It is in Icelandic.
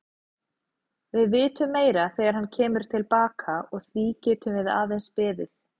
Við vitum meira þegar hann kemur til baka og því getum við aðeins beðið.